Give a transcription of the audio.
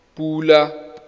pula